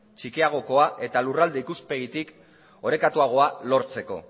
txikiagokoa eta lurralde ikuspegitik orekatuagoa lortzeko